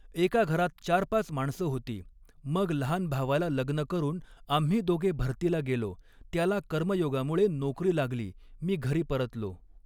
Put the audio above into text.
एका घरात चार पाच माणसं होती, मग लहान भावाला लग्न करून, आम्ही दोघे भरतीला गेलो, त्याला कर्मयोगामुळे नोकरी लागली, मी घरी परतलो.